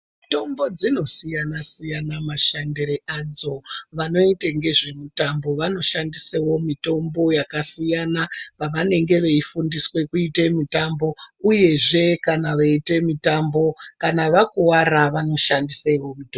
Mitombo dzinosiyana siyana mashandire adzo vanoite ngezvemitambo vanoshandisawo mitombo yakasiyana pavanenge veifundiswe kuite mitambo uyezve kana vaiite mitambo kana vakuvara vanoshandisa ripi mutombo.